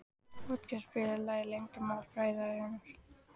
Otkell, spilaðu lagið „Leyndarmál frægðarinnar“.